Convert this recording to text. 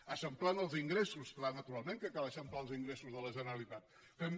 eixamplant els ingressos clar naturalment que cal eixamplar els ingressos de la generalitat fem